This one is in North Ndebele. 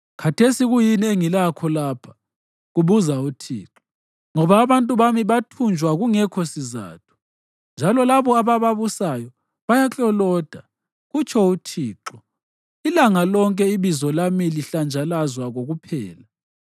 Khathesi kuyini engilakho lapha?” kubuza uThixo. “Ngoba abantu bami bathunjwa kungekho sizatho, njalo labo abababusayo bayakloloda,” kutsho uThixo. “Ilanga lonke ibizo lami lihlanjazwa kokuphela.